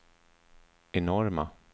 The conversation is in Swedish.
enorma